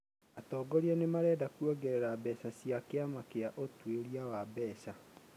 atongoria nĩ marenda kuongerera mbeca cia kĩama kĩa ũtuĩria wa mbeca.